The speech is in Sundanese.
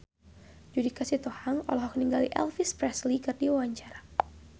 Judika Sitohang olohok ningali Elvis Presley keur diwawancara